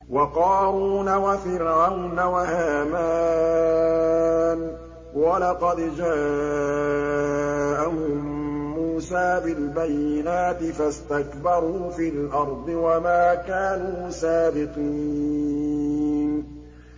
وَقَارُونَ وَفِرْعَوْنَ وَهَامَانَ ۖ وَلَقَدْ جَاءَهُم مُّوسَىٰ بِالْبَيِّنَاتِ فَاسْتَكْبَرُوا فِي الْأَرْضِ وَمَا كَانُوا سَابِقِينَ